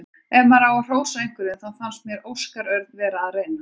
Ef maður á að hrósa einhverjum þá fannst mér Óskar Örn vera að reyna.